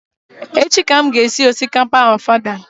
Echi ka m ga-esi osikapa ofada